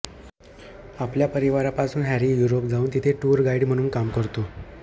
आपल्या परिवारापासून Harry Europe जाऊन तिथे टूर गाइड म्हणून काम करतो